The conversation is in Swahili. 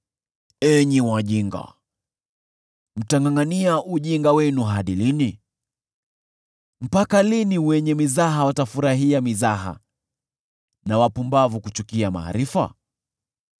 “Enyi wajinga, mtangʼangʼania ujinga wenu hadi lini? Mpaka lini wenye mizaha watafurahia mizaha, na wapumbavu kuchukia maarifa?